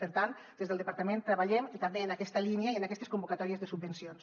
per tant des del departament treballem també en aquesta línia i en aquestes convocatòries de subvencions